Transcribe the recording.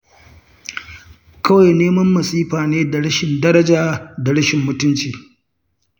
Kawai neman masifa ne da rashin daraja da rashin mutunci.